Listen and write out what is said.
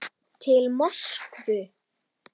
Til Moskvu